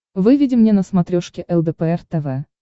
выведи мне на смотрешке лдпр тв